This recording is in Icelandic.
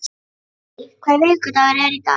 Millý, hvaða vikudagur er í dag?